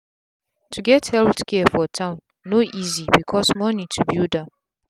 to get healthcare for town no easy because moni to build am